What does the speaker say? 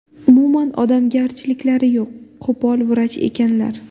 Umuman odamgarchiliklari yo‘q, qo‘pol vrach ekanlar.